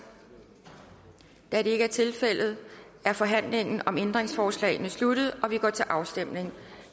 da det ikke er tilfældet er forhandlingen om ændringsforslagene sluttet og vi går til afstemning